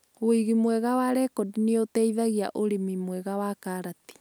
Wĩigi mwega wa rekodi nĩ ũteihagia ũrĩmi mwega wa karati.